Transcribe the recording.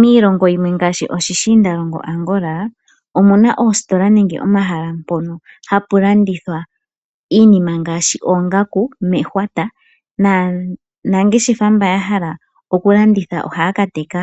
Miilongo yimwe ngaashi oshiindalongo Angola omuna oositola nenge omahala mpono hapu landithwa iinima ngaashi oongaku mehwata, naanangeshefa mba ya hala okulanditha ohaya ka teka